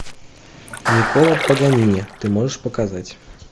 никколо паганини ты можешь показать